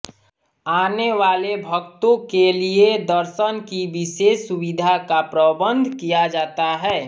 आने वाले भक्तों के लिए दर्शन की विशेष सुविधा का प्रबन्ध किया जाता है